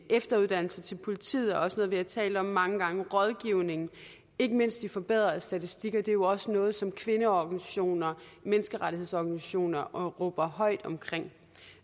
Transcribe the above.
efteruddannelse til politiet er også noget vi har talt om mange gange rådgivning og ikke mindst de forbedrede statistikker er jo også noget som kvindeorganisationer og menneskerettighedsorganisationer råber højt om